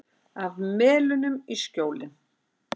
Af Melunum í Skjólin.